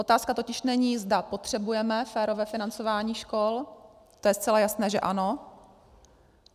Otázka totiž není, zda potřebujeme férové financování škol, to je zcela jasné, že ano.